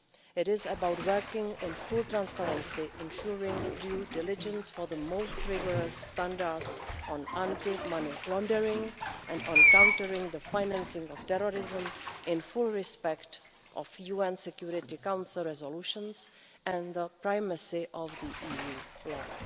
It is about working in full transparency, ensuring due diligence for the most rigorous standards on anti money laundering and on countering the financing of terrorism in full respect of UN Security Council resolutions and the primacy of the EU law.